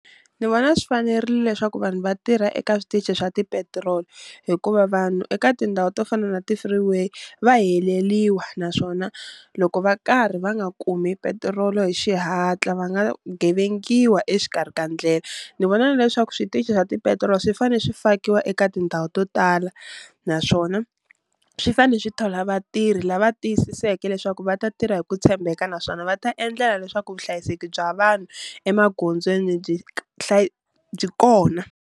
Ni vona swi fanerile leswaku vanhu va tirha eka switichi swa tipetiroli, hikuva vanhu eka tindhawu to fana na ti-free way va heleliwa naswona loko va karhi va nga kumi petiroli hi xihatla va nga gevengiwa exikarhi ka ndlela. Ni vona na leswaku switichi swa petirolo swi fane swi fakiwa eka tindhawu to tala naswona swi fane swi thola vatirhi lava tiyisiseke leswaku va ta tirha hi ku tshembeka naswona va ta endlela leswaku vuhlayiseki bya vanhu emagondzweni byi byi kona.